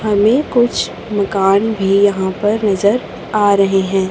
हमें कुछ मकान भी यहां पर नजर आ रहे हैं।